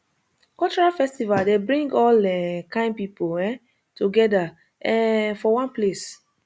cultural festival dey bring all um kain people um together um for one place